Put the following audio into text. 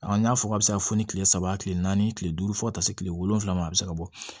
N y'a fɔ a bɛ se ka fɔ ni kile saba kile naani kile duuru fo ka taa se kile wolonwula ma a bɛ se ka bɔ